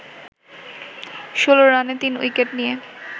১৬ রানে ৩ উইকেট নিয়ে